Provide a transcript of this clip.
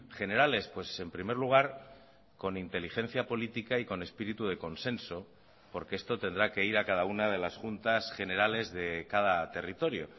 generales pues en primer lugar con inteligencia política y con espíritu de consenso porque esto tendrá que ir a cada una de las juntas generales de cada territorio